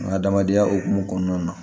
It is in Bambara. An ka adamadenya hukumu kɔnɔna na